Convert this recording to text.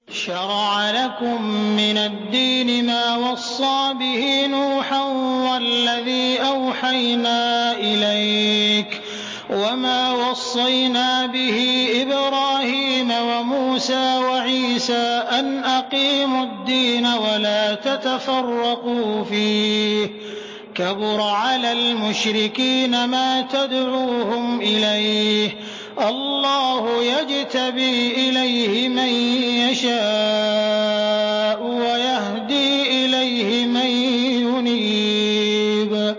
۞ شَرَعَ لَكُم مِّنَ الدِّينِ مَا وَصَّىٰ بِهِ نُوحًا وَالَّذِي أَوْحَيْنَا إِلَيْكَ وَمَا وَصَّيْنَا بِهِ إِبْرَاهِيمَ وَمُوسَىٰ وَعِيسَىٰ ۖ أَنْ أَقِيمُوا الدِّينَ وَلَا تَتَفَرَّقُوا فِيهِ ۚ كَبُرَ عَلَى الْمُشْرِكِينَ مَا تَدْعُوهُمْ إِلَيْهِ ۚ اللَّهُ يَجْتَبِي إِلَيْهِ مَن يَشَاءُ وَيَهْدِي إِلَيْهِ مَن يُنِيبُ